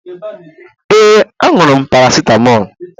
Yes, aṅụrụ m paracetamol